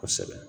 Kosɛbɛ